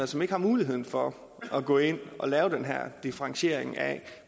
som ikke har mulighed for at gå ind og lave den her differentiering af